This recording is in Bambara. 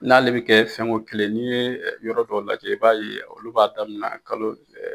N'ale bɛ kɛ fɛn ko kelen, n'i ye yɔrɔ dɔ lajɛ i b'a ye olu b'a daminɛ kalo